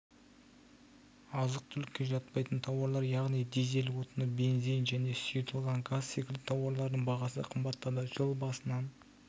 азық-түлікке жатпайтын тауарлар яғни дизель отыны бензин және сұйытылған газ секілді тауарлардың бағасы қымбаттады жыл басынан